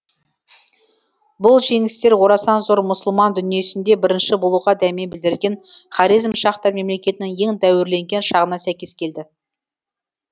бұл жеңістер орасан зор мұсылман дүниесінде бірінші болуға дәме білдірген хорезмшахтар мемлекетінің ең дәуірлеген шағына сәйкес келді